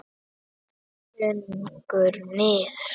Þungur niður.